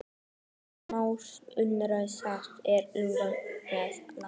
Kristján Már Unnarsson: Hvað er eiginlega að gerast með landann?